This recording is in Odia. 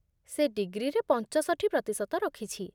ସେ ଡିଗ୍ରୀରେ ପଞ୍ଚଷଠି ପ୍ରତିଶତ ରଖିଛି